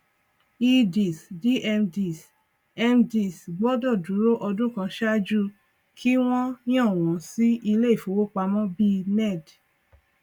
eds dmds mds gbọdọ dúró ọdún kan ṣáájú kí wọn yàn wọn sí ilé ìfowópamọ bí ned